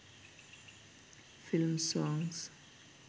films songs